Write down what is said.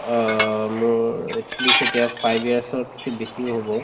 অ, মোৰ at least এতিয়া five years তকে বেছিয়ে হব